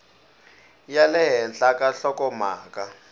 ya le henhla ka nhlokomhaka